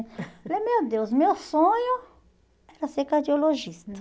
Eu falei, meu Deus, meu sonho era ser cardiologista.